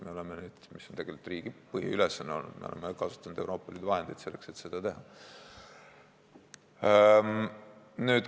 Me oleme – see on tegelikult riigi põhiülesanne olnud – kasutanud Euroopa Liidu vahendeid selleks, et seda teha.